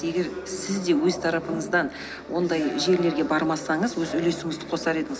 егер сіз де өз тарапыңыздан ондай жерлерге бармасаңыз өз үлесіңізді қосар едіңіз